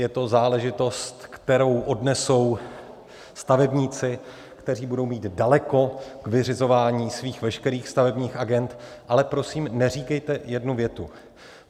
Je to záležitost, kterou odnesou stavebníci, kteří budou mít daleko k vyřizování svých veškerých stavebních agend, ale prosím, neříkejte jednu větu.